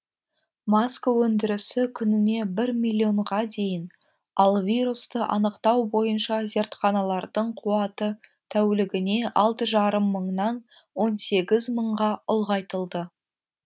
маска өндірісі күніне бір миллионға дейін ал вирусты анықтау бойынша зертханалардың қуаты тәулігіне алты жарым мыңнан он сегіз мыңға ұлғайтылды